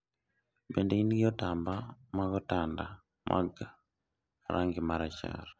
bende in gi otamba mag otanda mag rangi ma rachar?